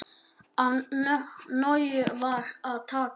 Af nógu var að taka.